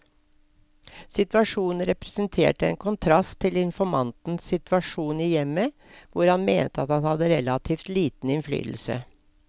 Situasjonen representerte en kontrast til informantens situasjon i hjemmet, hvor han mente at han hadde relativt liten innflytelse.